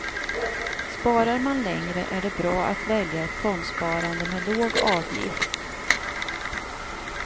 Sparar man länge är det bra att välja ett fondsparande med låg avgift.